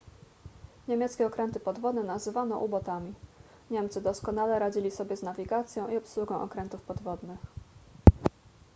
niemieckie okręty podwodne nazywano u-botami niemcy doskonale radzili sobie z nawigacją i obsługą okrętów podwodnych